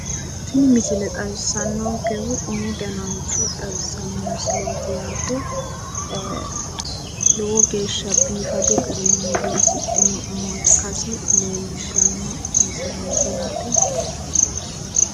tini misile xawissanonkehu umu danancho xawissanno misileeti yaate lowo geeshsha biifadu garinni loosidhino umo ikkasi leellishshanno yaate.